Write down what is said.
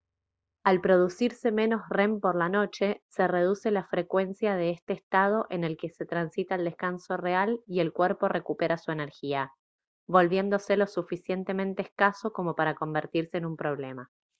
al producirse menos rem por la noche se reduce la frecuencia de este estado en el que se transita el descanso real y el cuerpo recupera su energía volviéndose lo suficientemente escaso como para convertirse en un problema